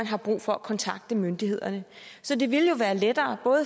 har brug for at kontakte myndighederne så det ville jo være lettere